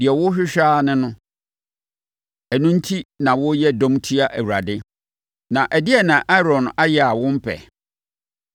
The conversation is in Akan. Deɛ worehwehwɛ ara ne no! Ɛno enti na woreyɛ dɔm atia Awurade. Na ɛdeɛn na Aaron ayɛ a wompɛ?”